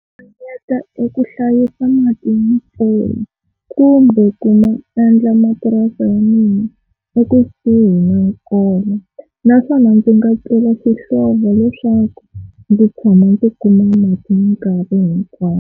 Ringanyeta eku hlayisa mati ma mpfula kumbe ku endla mapurasi ya mina ekusuhi na nkova, naswona ndzi nga xihlovo leswaku ndzi tshama ni kuma ni mati minkarhi hinkwayo.